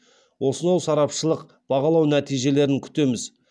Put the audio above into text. осынау сарапшылық бағалау нәтижелерін күтеміз